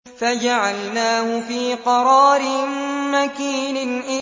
فَجَعَلْنَاهُ فِي قَرَارٍ مَّكِينٍ